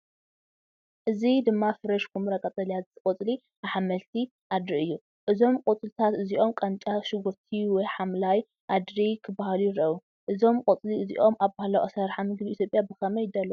እዚ ድማ ፍሬሽ ኵምራ ቀጠልያ ቆጽሊ ኣሕምልቲ ኣድሪ የርኢ። እዞም ቆጽሊ እዚኦም ቃንጫ ሽጉርቲ ወይ ሓምላይ ኣድሪ ክበሃሉ ይኽእሉ። እዞም ቆጽሊ እዚኦም ኣብ ባህላዊ ኣሰራርሓ ምግቢ ኢትዮጵያ ብኸመይ ይዳለዉ?